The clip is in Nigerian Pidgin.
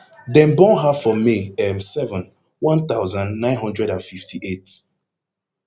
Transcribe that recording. dem born her for may um seven one thousand, nine hundred and fifty-eight